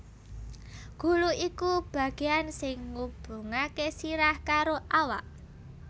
Gulu iku bagéan sing ngubungaké sirah karo awak